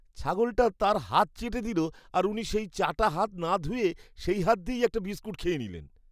ছাগলটা তাঁর হাত চেটে দিল আর উনি সেই চাটা হাত না ধুয়ে সেই হাত দিয়েই একটা বিস্কুট খেয়ে নিলেন।